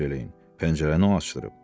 Pəncərəni o açdırıb.